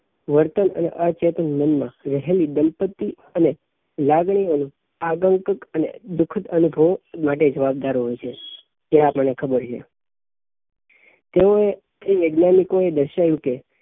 વર્તન અને અચેતન મન માં રહેલી દલપતિ અને લાગણી અને આગંતુક અને દુઃખદ અનુભવો માટે જવાબદાર હોઈ છે એ આપણને ખબર છે તેવોએ તે વૈજ્ઞાનિકો એ દર્શાવ્યું કે